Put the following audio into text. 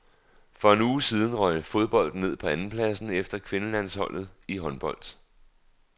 For en uge siden røg fodbolden ned på andenpladsen efter kvindelandsholdet i håndbold.